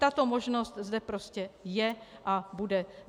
Tato možnost zde prostě je a bude.